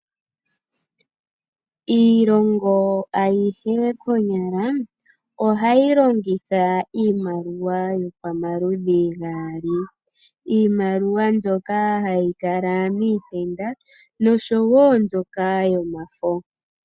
Iilongo ayihe konyala, ohayi longitha iimaliwa yopamaludhi gaali. Iimaliwa mbyoka hayi kala miitenda, noshowo mbyoka yomafo.